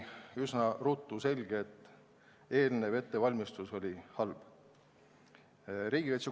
Üsna ruttu sai selgeks, et ettevalmistus oli halb.